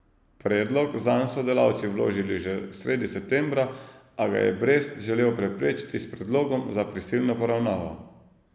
Predlog zanj so delavci vložili že sredi septembra, a ga je Brest želel preprečiti s predlogom za prisilno poravnavo.